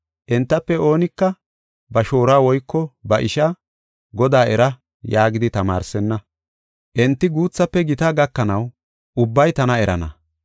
Entafe oonika ba shooruwa woyko ba ishaa, ‘Godaa era’ yaagidi tamaarsenna. Enti guuthafe gita gakanaw ubbay tana erana.